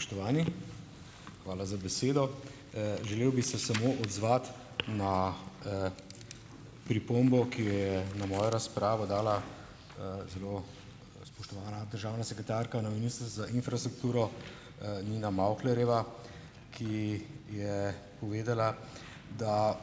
Spoštovani, hvala za besedo. želel bi se samo odzvati na, pripombo, ki jo je na mojo razpravo dala, zelo spoštovana državna sekretarka na za infrastrukturo, Nina Mavklerjeva, ki je povedala, da